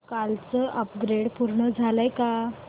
कालचं अपग्रेड पूर्ण झालंय का